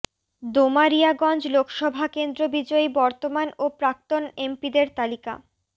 দোমারিয়াগঞ্জ লোকসভা কেন্দ্র বিজয়ী বর্তমান ও প্রাক্তন এমপিদের তালিকা